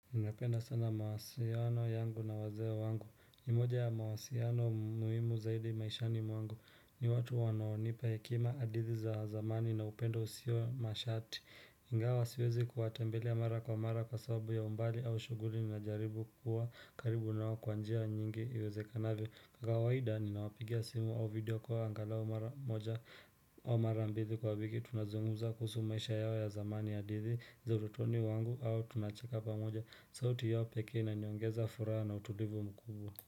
Ninapenda sana mawasiliano yangu na wazee wangu. Nimoja ya mawasiliano muhimu zaidi maishani mwangu ni watu wanaonipa hekima hadithi za zamani na upendo usio mashati. iNgawa siwezi kuwatambela mara kwa mara kwa sababu ya umbali au shughuli ninajaribu kuwa karibu nao kwa njia nyingi iwezekanavyo. Kwa kawaida ninawapigia simu au video call kwa angalao mara moja mara mbili kwa wiki tunazungumza kuhusu maisha yao ya zamani hadithi za ututoni wangu au tunacheka pamoja sauti yao pekee inaniongeza furaha na utulivu mkubwa.